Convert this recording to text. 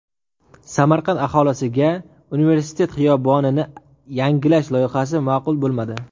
Samarqand aholisiga universitet xiyobonini yangilash loyihasi ma’qul bo‘lmadi.